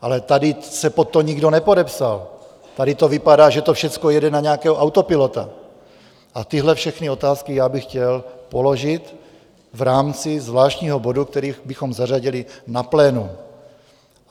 Ale tady se pod to nikdo nepodepsal, tady to vypadá, že to všechno jede na nějakého autopilota, a tyhle všechny otázky já bych chtěl položit v rámci zvláštního bodu, který bychom zařadili na plénu.